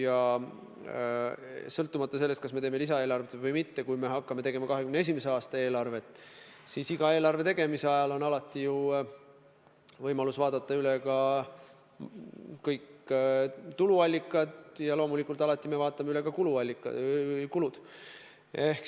Aga sõltumata sellest, kas me teeme lisaeelarvet või mitte, kui me hakkame koostama 2021. aasta eelarvet, siis meil on võimalus üle vaadata kõik tuluallikad ja loomulikult alati me vaatame üle ka kulud.